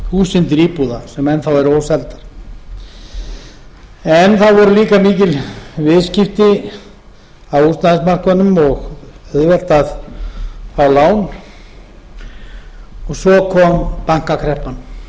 einhverjar þúsundir íbúða sem enn þá eru óseldar það voru líka mikil viðskipti á húsnæðismarkaðnum og auðvelt að fá lán og svo kom bankakreppan